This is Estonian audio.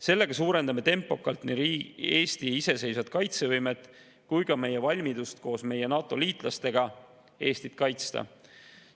Sellega parandame tempokalt nii Eesti iseseisvat kaitsevõimet kui ka valmidust koos meie NATO-liitlastega Eestit kaitsta.